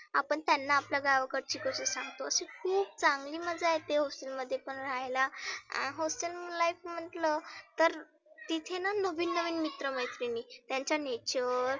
आपण त्यांना आपल्या गावाकडची गोष्ट सांगतो. अशी खुप चांगली मजा येते hostel मध्ये पण रहायला. hostel life म्हटलं तर तिथेना नविन नविन मित्र मैत्रिनी. त्यांचा neture